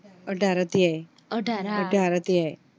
અઠાર અધ્યાય અઠાર અધ્યાય